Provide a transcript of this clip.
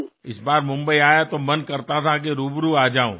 यावेळी मुंबईत आलो तेव्हा प्रत्यक्ष भेट व्हावी असे वाटत होते